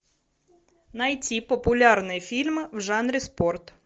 найти популярные фильмы в жанре спорт